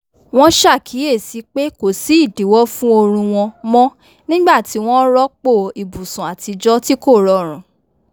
wọn ṣàkíyèsí pé kò sí ìdíwọ́ fún oorun wọn mọ́ nígbà tí wọ́n rọ́pò ibùsùn àtijọ́ tí kò rọrùn